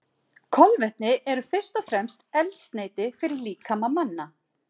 Kolvetni eru fyrst og fremst eldsneyti fyrir líkama manna.